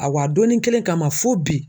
A wa a donni kelen kama fo bi